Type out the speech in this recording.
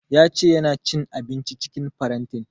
Ya ce ya na cin abinci cikin farantin